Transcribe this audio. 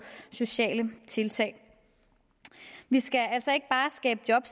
sociale tiltag vi skal altså ikke bare skabe job